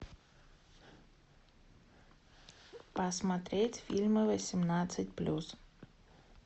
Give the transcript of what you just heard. посмотреть фильмы восемнадцать плюс